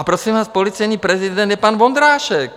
A prosím vás, policejní prezident je pan Vondrášek.